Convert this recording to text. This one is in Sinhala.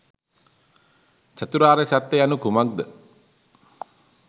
චතුරාර්ය සත්‍ය යනු කුමක්ද